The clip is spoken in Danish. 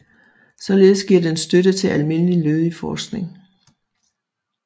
Således giver den støtte til almindelig lødig forskning